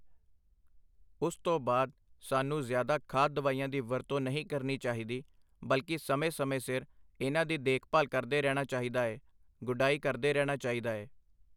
ਉਸ ਤੋਂ ਬਾਅਦ ਸਾਨੂੰ ਜ਼ਿਆਦਾ ਖਾਦ ਦਵਾਈਆਂ ਦੀ ਵਰਤੋਂ ਨਹੀ ਕਰਨੀ ਚਾਹੀਦੀ, ਬਲਕਿ ਸਮੇਂ-ਸਮੇਂ ਸਿਰ ਇਹਨਾਂ ਦੀ ਦੇਖਭਾਲ ਕਰਦੇ ਰਹਿਣਾ ਚਾਹੀਦਾ ਏ, ਗੁ਼ਡਾਈ ਕਰਦੇ ਰਹਿਣਾ ਚਾਹੀਦਾ ਏ।